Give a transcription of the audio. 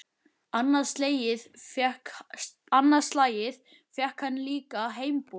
Annað slagið fékk hann líka heimboð.